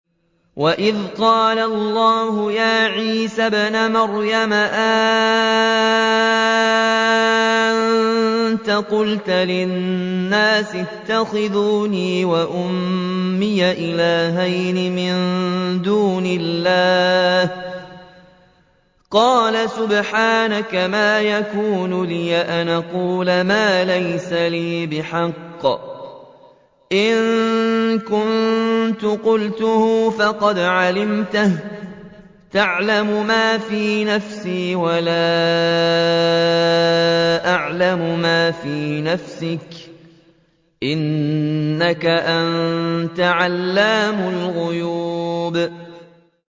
وَإِذْ قَالَ اللَّهُ يَا عِيسَى ابْنَ مَرْيَمَ أَأَنتَ قُلْتَ لِلنَّاسِ اتَّخِذُونِي وَأُمِّيَ إِلَٰهَيْنِ مِن دُونِ اللَّهِ ۖ قَالَ سُبْحَانَكَ مَا يَكُونُ لِي أَنْ أَقُولَ مَا لَيْسَ لِي بِحَقٍّ ۚ إِن كُنتُ قُلْتُهُ فَقَدْ عَلِمْتَهُ ۚ تَعْلَمُ مَا فِي نَفْسِي وَلَا أَعْلَمُ مَا فِي نَفْسِكَ ۚ إِنَّكَ أَنتَ عَلَّامُ الْغُيُوبِ